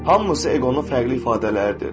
hamısı eqonun fərqli ifadələridir.